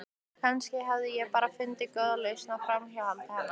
Kannski hafði ég bara fundið góða lausn á framhjáhaldi hennar.